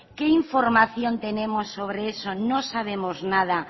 qué información tenemos sobre eso no sabemos nada